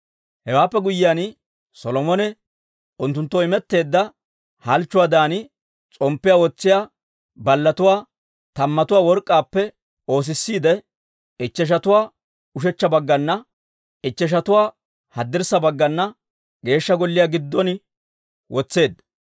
Hewaappe guyyiyaan, Solomone unttunttoo imetteedda halchchuwaadan s'omppiyaa wotsiyaa ballatuwaa tammatuwaa work'k'aappe oosissiide, ichcheshatuwaa ushechcha baggana, ichcheshatuwaa haddirssa baggana Geeshsha Golliyaa giddon wotseedda.